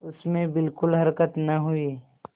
उसमें बिलकुल हरकत न हुई